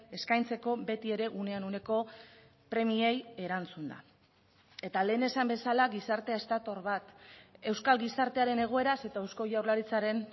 eskaintzeko beti ere unean uneko premiei erantzunda eta lehen esan bezala gizartea ez dator bat euskal gizartearen egoeraz eta eusko jaurlaritzaren